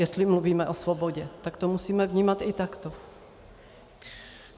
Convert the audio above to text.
Jestli mluvíme o svobodě, tak to musíme vnímat i takto.